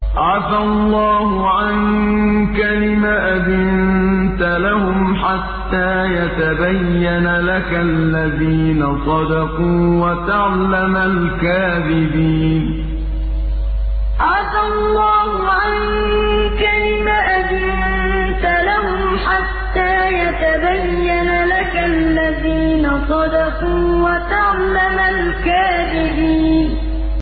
عَفَا اللَّهُ عَنكَ لِمَ أَذِنتَ لَهُمْ حَتَّىٰ يَتَبَيَّنَ لَكَ الَّذِينَ صَدَقُوا وَتَعْلَمَ الْكَاذِبِينَ عَفَا اللَّهُ عَنكَ لِمَ أَذِنتَ لَهُمْ حَتَّىٰ يَتَبَيَّنَ لَكَ الَّذِينَ صَدَقُوا وَتَعْلَمَ الْكَاذِبِينَ